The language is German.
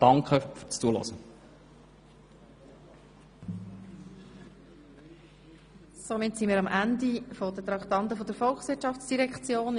Damit sind wir am Ende der Traktanden der Volkswirtschaftsdirektion angelangt.